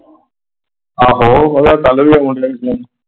ਆਹੋ ਮਤਲਬ ਕਲ ਵੀ ਆਉਣ ਡਇਆ ਹੀ ਸੀ।